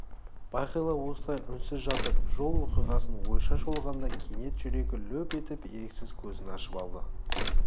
бағила осылай үнсіз жатып жол оқиғасын ойша шолғанда кенет жүрегі лүп етіп еріксіз көзін ашып алды